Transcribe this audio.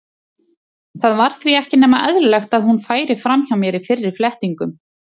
Það var því ekki nema eðlilegt að hún færi fram hjá mér í fyrri flettingum.